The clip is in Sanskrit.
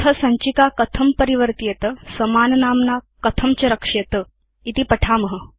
अथ सञ्चिका कथं परिवर्त्येत समाननाम्ना कथं च रक्ष्येत इति पठेम